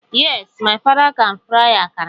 Yes, my father can fry akara.